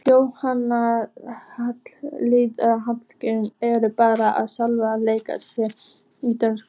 Jóhann Hlíðar Harðarson: Ertu bara ekki sjálf léleg í dönsku?